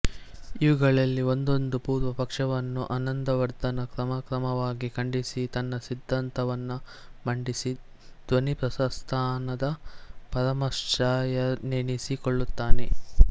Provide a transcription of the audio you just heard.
ಇವುಗಳಲ್ಲಿ ಒಂದೊಂದು ಪೂರ್ವಪಕ್ಷವನ್ನೂ ಆನಂದವರ್ಧನ ಕ್ರಮಕ್ರಮವಾಗಿ ಖಂಡಿಸಿ ತನ್ನ ಸಿದ್ಧಾಂತವನ್ನು ಮಂಡಿಸಿ ಧ್ವನಿಪ್ರಸ್ಥಾನದ ಪರಮಾಚಾರ್ಯನೆನಿಸಿಕೊಳ್ಳುತ್ತಾನೆ